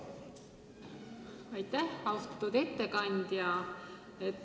Aitäh, austatud ettekandja!